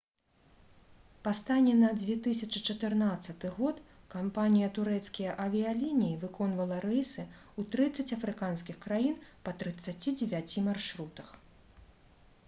па стане на 2014 год кампанія «турэцкія авіялініі» выконвала рэйсы ў 30 афрыканскіх краін па 39 маршрутах